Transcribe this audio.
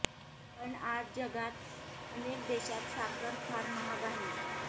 पण आज जगात अनेक देशांत साखर फार महाग आहे